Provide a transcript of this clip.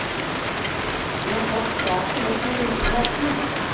De har tatt saken opp med myndighetene.